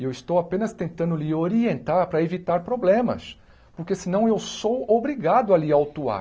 E eu estou apenas tentando lhe orientar para evitar problemas, porque senão eu sou obrigado a lhe autuar.